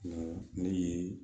ne ye